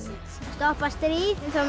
stoppa stríð þá